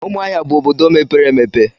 Umuahia bu obodo mepere emepe.